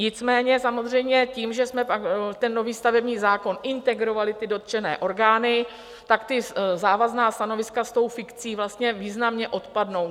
Nicméně samozřejmě tím, že jsme ten nový stavební zákon integrovali, ty dotčené orgány, tak ta závazná stanoviska s tou fikcí vlastně významně odpadnou.